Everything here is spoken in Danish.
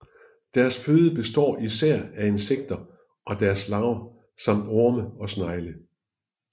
Dets føde består især af insekter og deres larver samt orme og snegle